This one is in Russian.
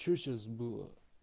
что сейчас было